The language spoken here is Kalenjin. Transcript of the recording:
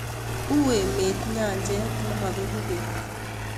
uu emet nyanjet ne mabeku beek